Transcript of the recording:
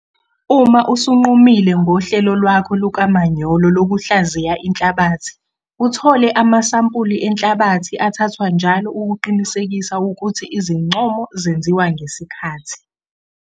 Uma usunqumile ngohlelo lwakho lukamanyolo lokuhlaziya inhlabathi, uthole amasampuli enhlabathi athathwa njalo ukuqinisekisa ukuthi izincomo zenziwa ngesikhathi.